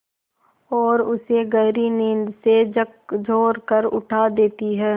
और उसे गहरी नींद से झकझोर कर उठा देती हैं